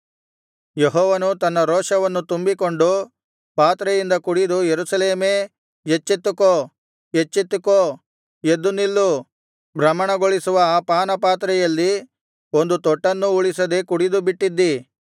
ಯೆಹೋವನು ತನ್ನ ರೋಷವನ್ನು ತುಂಬಿಕೊಟ್ಟ ಪಾತ್ರೆಯಿಂದ ಕುಡಿದ ಯೆರೂಸಲೇಮೇ ಎಚ್ಚೆತ್ತುಕೋ ಎಚ್ಚೆತ್ತುಕೋ ಎದ್ದುನಿಲ್ಲು ಭ್ರಮಣಗೊಳಿಸುವ ಆ ಪಾನದ ಪಾತ್ರೆಯಲ್ಲಿ ಒಂದು ತೊಟ್ಟನ್ನೂ ಉಳಿಸದೆ ಕುಡಿದುಬಿಟ್ಟಿದ್ದಿ